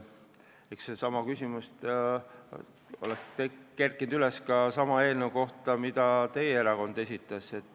Eks seesama küsimus oleks üles kerkinud ka teie erakonna eelnõu puhul.